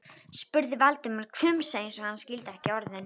spurði Valdimar, hvumsa eins og hann skildi ekki orðin.